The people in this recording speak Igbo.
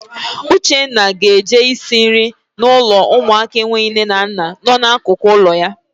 Uchenna ga-eje isi nri na ụlọ ụmụaka enweghị nne na nna nọ n'akụkụ ụlọ ya.